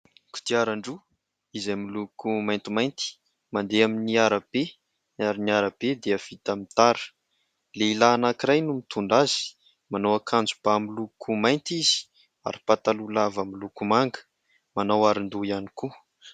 Kodiaran-droa izay miloko maintimainty mandeha amin'ny arabe ary ny arabe dia vita amin'ny tara ; lehilahy anankiray no mitondra azy, manao akanjo-bà miloko mainty izy ary pataloha lava miloko manga, manao aron-doha ihany koa.